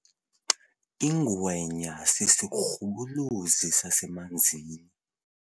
Ingwenya sisirhubuluzi sasemanzini.